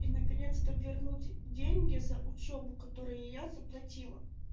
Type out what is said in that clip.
и наконец-то вернуть деньги за учёбу которые я заплатила